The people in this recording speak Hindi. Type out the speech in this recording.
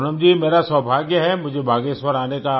पूनम जी मेरा सौभाग्य है मुझे बागेश्वर आने का